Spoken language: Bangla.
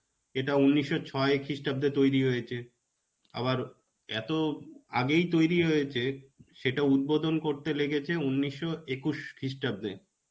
এটা উনিশশো ছয় খ্রিস্টাব্দে তৈরী হয়েছে. আবার এত আগেই তৈরী হয়েছে সেটা উদ্বোধন করতে লেগেছে উনিশশো একুশ খ্রিস্টাব্দে.